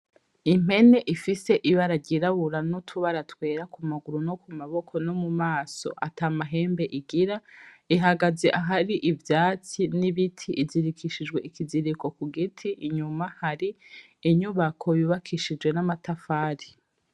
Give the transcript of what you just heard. Impene ifise ibara ryirabura n'utubara twera ku maguru no ku maboko no mu maso ata mahembe igira, ihagaze ahari ivyatsi n'ibiti, izirikishijwe ikiziriko ku giti, inyuma hari inyubako yubakishije n'amatafari.